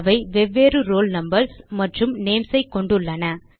அவை வெவ்வேறு roll numbers மற்றும் நேம்ஸ் ஐ கொண்டுள்ளன